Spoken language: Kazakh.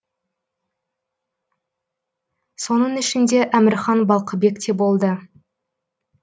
соның ішінде әмірхан балқыбек те болды